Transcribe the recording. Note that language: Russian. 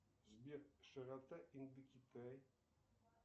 сбер широта индокитай